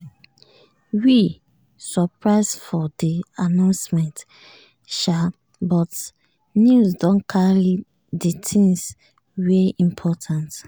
we surprise for di announcement sha but news don carry di things wey important.